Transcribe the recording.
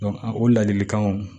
o ladilikanw